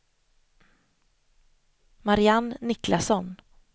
Marianne Niklasson